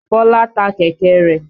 Bọ́lá ta kẹ̀kẹ́ rẹ̀.